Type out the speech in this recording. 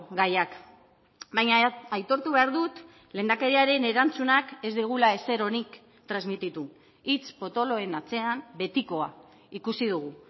gaiak baina aitortu behar dut lehendakariaren erantzunak ez digula ezer onik transmititu hitz potoloen atzean betikoa ikusi dugu